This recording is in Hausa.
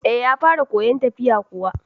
Eh, ya fara koyan tafiya kuwa